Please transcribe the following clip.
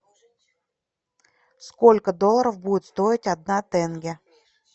сколько долларов будет стоить одна тенге